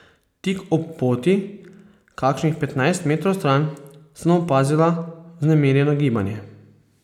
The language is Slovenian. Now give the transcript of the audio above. Tik ob poti, kakšnih petnajst metrov stran, sem opazila vznemirjeno gibanje.